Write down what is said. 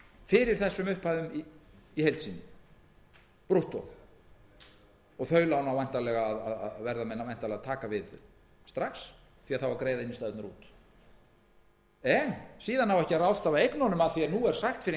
fyrir þessum upphæðum í heild sinni brúttó og þeim lánum verða menn væntanlega að taka við strax því að greiða á innstæðurnar út en síðan á ekki að ráðstafa eignunum að því er nú er sagt fyrr en